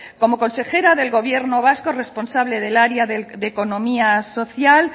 como consejera del gobierno vasco responsable del área de economía social